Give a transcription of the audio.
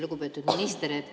Lugupeetud minister!